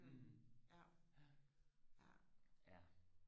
hm ja ja